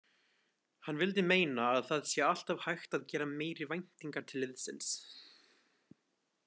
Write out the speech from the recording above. Hann vildi meina að það sé alltaf hægt að gera meiri væntingar til liðsins.